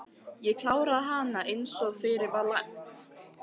Ég kláraði hana einsog fyrir var lagt.